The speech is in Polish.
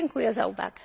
Dziękuję za uwagę!